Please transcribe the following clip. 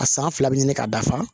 A san fila bɛ ɲini ka dafa